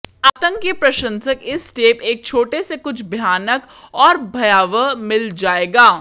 आतंक के प्रशंसक इस टेप एक छोटे से कुछ भयानक और भयावह मिल जाएगा